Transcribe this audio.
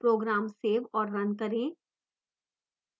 program save और run करें